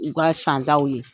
U ka santaaw ye